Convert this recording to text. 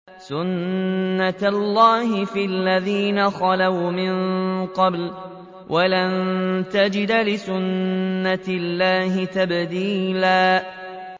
سُنَّةَ اللَّهِ فِي الَّذِينَ خَلَوْا مِن قَبْلُ ۖ وَلَن تَجِدَ لِسُنَّةِ اللَّهِ تَبْدِيلًا